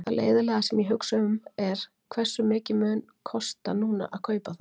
Það leiðinlega sem ég hugsa um er, hversu mikið mun kosta núna að kaupa þá?